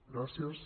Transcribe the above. gràcies